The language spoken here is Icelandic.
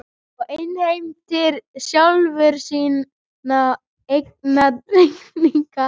Og innheimtir sjálfur sína eigin reikninga.